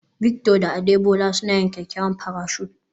Victor da Adebola suna yin kyakkyawan parachute